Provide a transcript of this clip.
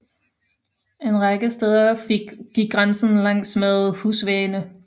En række steder gik grænsen langsmed husvæggene